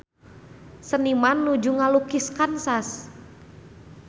Seniman nuju ngalukis Kansas